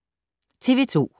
TV 2